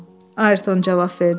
Ayerton cavab verdi.